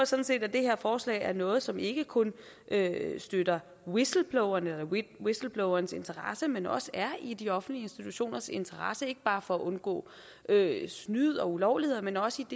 sådan set at det her forslag er noget som ikke kun støtter whistleblowerens whistleblowerens interesse men også er i de offentlige institutioners interesse ikke bare for at undgå snyd og ulovligheder men også